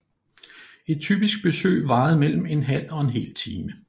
Et typisk besøg varede mellem en halv og en hel time